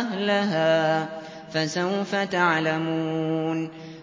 أَهْلَهَا ۖ فَسَوْفَ تَعْلَمُونَ